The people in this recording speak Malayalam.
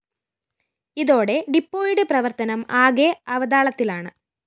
ഇതോടെ ഡിപ്പോയുടെ പ്രവര്‍ത്തനം ആകെ അവതാളത്തിലാണ്